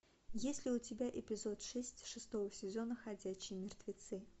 есть ли у тебя эпизод шесть шестого сезона ходячие мертвецы